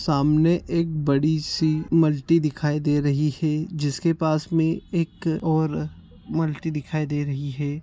सामने एक बड़ी सी मल्टी दिखाई दे रही है जिसके पास में एक और मल्टी दिखाई दे रही है।